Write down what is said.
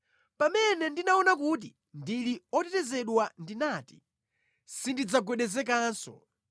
Pamene ndinaona kuti ndili otetezedwa ndinati, “Sindidzagwedezekanso.”